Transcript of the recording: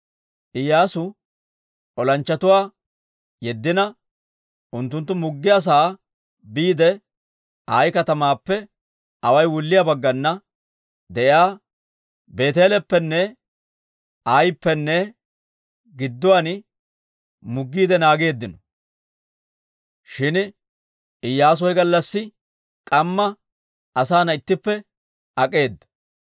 Iyyaasu olanchchatuwaa yeddina unttunttu muggiyaa sa'aa biide Ayi katamaappe away wulliyaa baggana de'iyaa Beeteeleppenne Ayippenne gidduwaan muggiide naageeddino. Shin Iyyaasu he gallassi k'amma asaana ittippe ak'eeda.